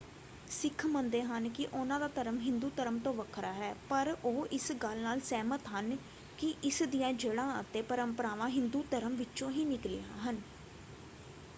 ਸਿੱਖ ਮੰਨਦੇ ਹਨ ਕਿ ਉਹਨਾਂ ਦਾ ਧਰਮ ਹਿੰਦੂ ਧਰਮ ਤੋਂ ਵੱਖਰਾ ਹੈ ਪਰ ਉਹ ਇਸ ਗੱਲ ਨਾਲ ਸਹਿਮਤ ਹਨ ਕਿ ਇਸ ਦੀਆਂ ਜੜ੍ਹਾਂ ਅਤੇ ਪਰੰਪਰਾਵਾਂ ਹਿੰਦੂ ਧਰਮ ਵਿੱਚੋਂ ਹੀ ਨਿਕਲੀਆਂ ਹਨ।